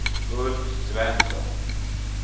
Ulf Svensson